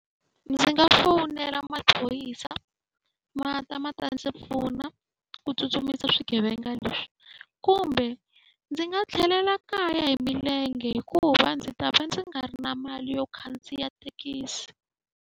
Ndzi nga fonela maphorisa ma ta ma ta ndzi pfuna ku tsutsumisa swigevenga leswi, kumbe ndzi nga tlhelela kaya hi milenge hikuva ndzi ta va ndzi nga ri na mali yo khandziya thekisi.